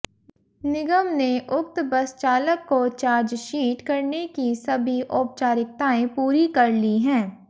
निगम ने उक्त बस चालक को चार्जशीट करने की सभी औपचारिकताएं पूरी कर ली हैं